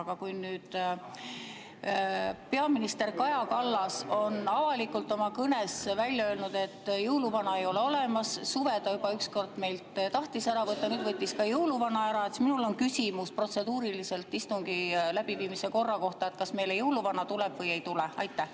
Aga kuna nüüd peaminister Kaja Kallas on avalikult oma kõnes välja öelnud, et jõuluvana ei ole olemas – suve ta juba ükskord tahtis meilt ära võtta, nüüd võttis ka jõuluvana ära –, siis minul on protseduuriline küsimus istungi läbiviimise korra kohta: kas meile jõuluvana tuleb või ei tule?